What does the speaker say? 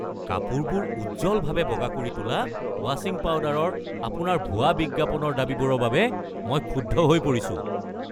কাপোৰবোৰ উজ্জ্বলভাৱে বগা কৰি তোলা ৱাশ্বিং পাউডাৰৰ আপোনাৰ ভুৱা বিজ্ঞাপনৰ দাবীবোৰৰ বাবে মই ক্ষুব্ধ হৈ পৰিছোঁ।